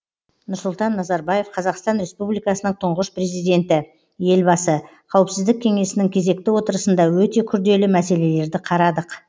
нұрсұлтан назарбаев қазақстан республикасының тұңғыш президенті елбасы қауіпсіздік кеңесінің кезекті отырысында өте күрделі мәселелерді қарадық